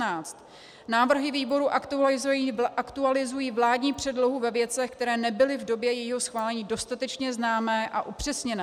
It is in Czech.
Návrhy výboru aktualizují vládní předlohu ve věcech, které nebyly v době jejího schválení dostatečně známé a upřesněné.